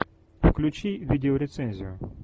включи видеорецензию